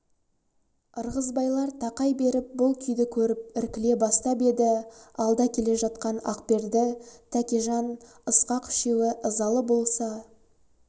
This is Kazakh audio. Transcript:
ырғызбайлар тақай беріп бұл күйді көріп іркіле бастап еді алда келе жатқан ақберді тәкежан ысқақ үшеуі ызалы болса